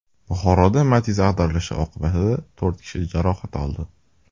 Buxoroda Matiz ag‘darilishi oqibatida to‘rt kishi jarohat oldi.